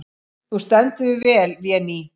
Þú stendur þig vel, Véný!